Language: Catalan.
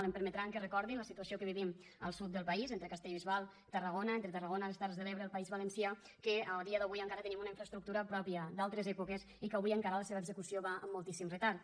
em permetran que recordi la situació que vivim al sud del país entre castellbisbal i tarragona entre tarragona i les terres de l’ebre el país valencià que a dia d’avui encara tenim una infraestructura pròpia d’altres èpoques i que avui encara la seva execució va amb moltíssim retard